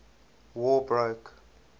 war broke